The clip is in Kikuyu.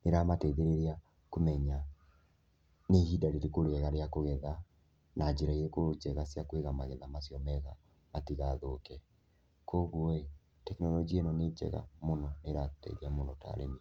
nĩ iramateithĩrĩria kũmenya nĩ ihinda rĩrĩkũ rĩa kũgetha, na njĩra ĩrĩkũ njega cia kũiga magetha macio wega matigathũke. Koguo ĩĩ tekinoronjĩa ĩno nĩ njega mũno nĩĩratũteithia mũno ta arĩmi.